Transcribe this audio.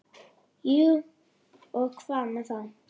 Jú, og hvað með það?